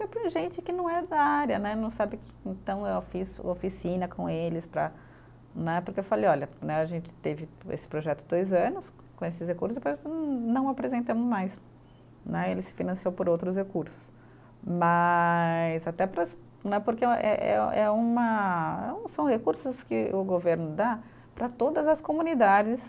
gente que não é da área né, não sabe que, então eu fiz oficina com eles para né, porque eu falei, olha né, a gente teve esse projeto dois anos, com esses recursos, depois com, não apresentamos mais né, ele se financiou por outros recursos, mas até para né porque eh eh eh é uma, são recursos que o governo dá para todas as comunidades,